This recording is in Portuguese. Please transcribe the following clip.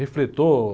Refletor...